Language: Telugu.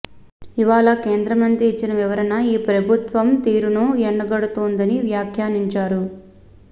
ఇవాళ కేంద్రమంత్రి ఇచ్చిన వివరణ ఈ ప్రభుత్వం తీరును ఎండగడుతోందని వ్యాఖ్యానించారు